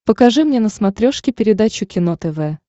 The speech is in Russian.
покажи мне на смотрешке передачу кино тв